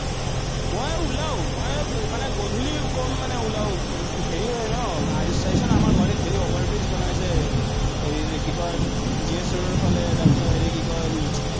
মই ওলাওঁ। মই মানে গধুলি কম মানে ওলাওঁ, হেৰি হয় ন, চাইছ ন আমাৰ গুৱাহাটীত over-bridge বনাইছে, হেৰি কি কয়, জি এছ ৰোডৰফালে, তাৰপাচত হেৰি কি কয়।